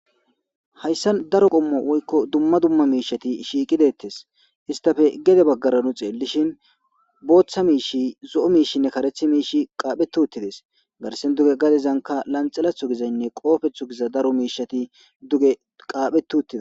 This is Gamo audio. Hayssa daro qommo woykko dumma dumma miishati shiiqidettes histafe gede baggara nu xeellishin booththa miishi zo7o miishinne karethi miishi qaaphe tuttides garsen duge gadezanka lanxalathu gizaynne qoofethu giza daro miishati duge qaaphetuuttida